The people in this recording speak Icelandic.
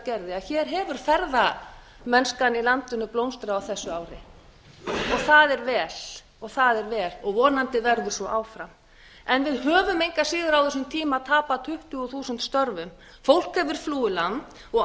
gerði að hér hefur ferðamennskan í landinu blómstrað á þessu ári og það er vel og vonandi verður svo áfram en við höfum engan veginn á þessum tíma tapað tuttugu þúsund störfum fólk hefur flúið landi og